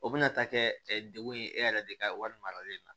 O bɛna taa kɛ degun ye e yɛrɛ de ka wari maralen na